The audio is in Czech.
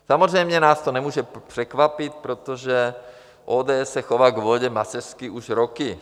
Samozřejmě nás to nemůže překvapit, protože ODS se chová k vodě macešsky už roky.